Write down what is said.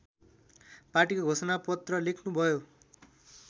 पाटीको घोषणापत्र लेख्नुभयो